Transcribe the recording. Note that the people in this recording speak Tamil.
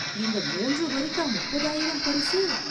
இந்த மூன்று வரிக்கா முப்பதாயிரம் பரிசு ?